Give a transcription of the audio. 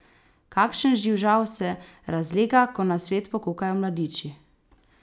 Kakšen živžav se razlega, ko na svet pokukajo mladiči!